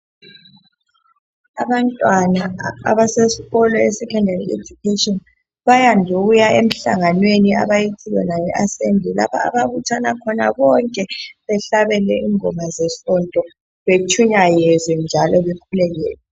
Abantwana abasesikolo ese sekhondari ejukheshini bayande ukuya emhlanganweni abayithi yona yi asembli lapha ababuthana khona bonke behlabele ingoma zesonto betshumayezwe njalo bekhulekelwe.